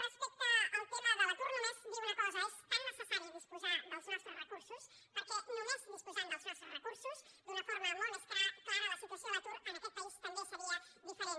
respecte al tema de l’atur només dir una cosa és tan necessari disposar dels nostres recursos perquè només disposant dels nostres recursos d’una forma molt més clara la situació a l’atur en aquest país també seria diferent